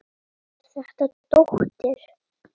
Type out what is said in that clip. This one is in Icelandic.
Er þetta dóttir.